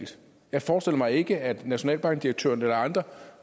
jeg forestiller mig ikke at nationalbankdirektøren eller andre